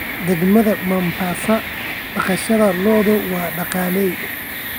Degaanada Mombasa, dhaqashada lo'du waa dhaqaale.